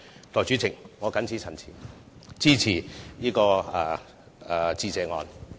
代理主席，我謹此陳辭，支持致謝議案。